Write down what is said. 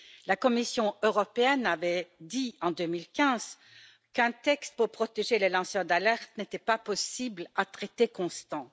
La Commission européenne avait dit, en 2015, qu'un texte pour protéger les lanceurs d'alerte n'était pas possible à traité constant.